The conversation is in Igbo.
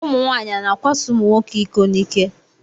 Ụmụnwaanyị a na-akwaso ụmụnwoke iko n'ike?